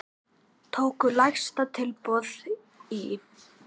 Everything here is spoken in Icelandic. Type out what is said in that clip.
Tóku lægsta tilboði í.